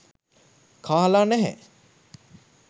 කාලා නැහැ